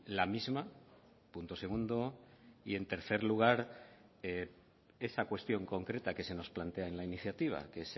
la misma punto segundo y en tercer lugar esa cuestión concreta que se nos plantea en la iniciativa que